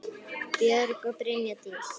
Björk og Brynja Dís.